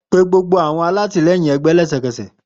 Pe gbogbo awọn atilẹyin ẹgbẹ lẹsẹkẹsẹ